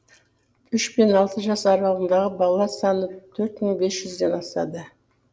үш пен алты жас аралығындағы бала саны төрт мың бес жүзден асады